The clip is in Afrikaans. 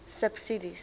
subsidies